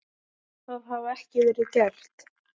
Það hafi ekki verið gert.